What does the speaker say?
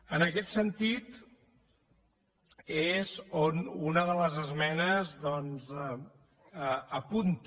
en aquest sentit és on una de les esmenes doncs apunta